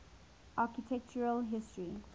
architectural history